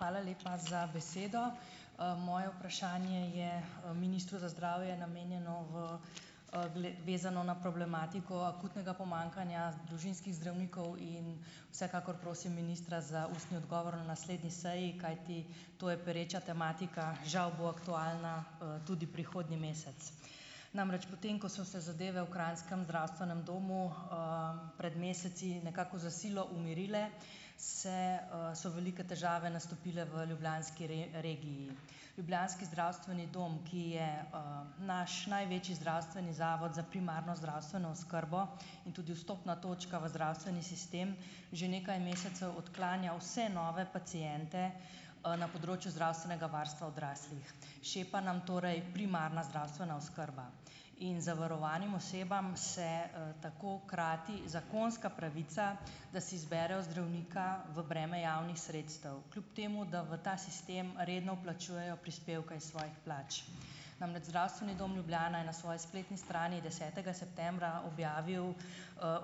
Hvala lepa za besedo. Moje vprašanje je, ministru za zdravje namenjeno, v, vezano na problematiko, akutnega pomanjkanja družinskih zdravnikov in vsekakor prosim ministra za ustni odgovor na naslednji seji, kajti to je pereča tematika. Žal bo aktualna, tudi prihodnji mesec. Namreč potem, ko so se zadeve v krajnskem zdravstvenem domu, pred meseci nekako za silo umirile, se, so velike težave nastopile v ljubljanski regiji. Ljubljanski zdravstveni dom, ki je, naš največji zdravstveni zavod za primarno zdravstveno oskrbo in tudi vstopna točka v zdravstveni sistem, že nekaj mesecev odklanja vse nove paciente, na področju zdravstvenega varstva odraslih. Šepa nam torej primarna zdravstvena oskrba in zavarovanim osebam se, tako krati zakonska pravica, da si zberejo zdravnika v breme javnih sredstev, kljub temu da v ta sistem redno vplačujejo prispevke iz svojih plač. Namreč Zdravstveni dom Ljubljana je na svoji spletni strani desetega septembra objavil,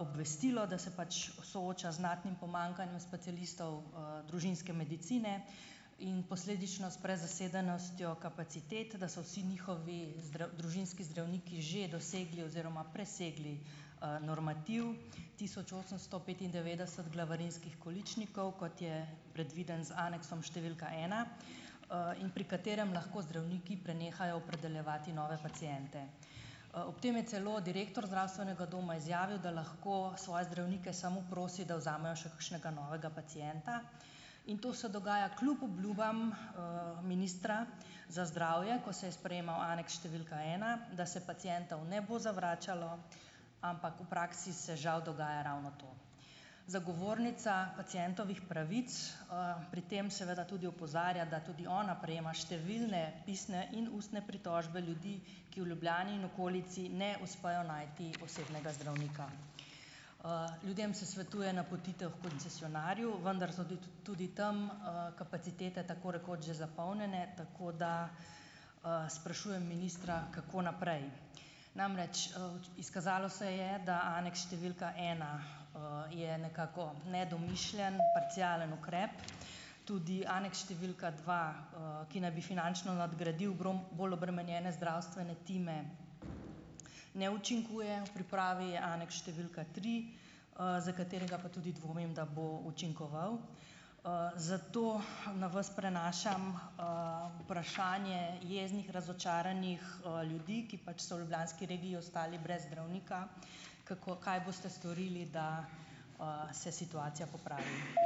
obvestilo, da se pač sooča z znatnim pomanjkanjem specialistov, družinske medicine in posledično s prezasedenostjo kapacitet, da so vsi njihovi družinski zdravniki že dosegli oziroma presegli, normativ, tisoč osemsto petindevetdeset glavarinskih količnikov, kot je predviden z aneksom številka ena, in pri katerem lahko zdravniki prenehajo opredeljevati nove paciente. Ob tem je celo direktor zdravstvenega doma izjavil, da lahko svoje zdravnike samo prosi, da vzamejo še kakšnega novega pacienta, in to se dogaja kljub obljubam, ministra, za zdravje, ko se je sprejemal aneks številka ena, da se pacientov ne bo zavračalo, ampak v praksi se žal dogaja ravno to. Zagovornica pacientovih pravic, pri tem seveda tudi opozarja, da tudi ona prejema številne pisne in ustne pritožbe ljudi, ki v Ljubljani in okolici ne uspejo najti osebnega zdravnika. Ljudem se svetuje napotitev h koncesionarju, vendar so te tudi tam, kapacitete tako rekoč že zapolnjene, tako da, sprašujem ministra kako naprej. Namreč, izkazalo se je, da aneks številka ena, je nekako nedomišljen, parcialen ukrep. Tudi aneks številka dva, ki naj bi finančno nadgradil bolj obremenjene zdravstvene time, ne učinkuje. V pripravi je aneks števila tri, za katerega pa tudi dvomim, da bo učinkoval. Zato na vas prenašam, vprašanje jeznih, razočaranih, ljudi, ki pač so v ljubljanski regiji ostali brez zdravnika. Kako, kaj boste storili, da, se situacija popravi?